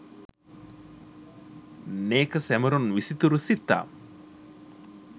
නෙක සැමරුම් විසිතුරු සිත්තම්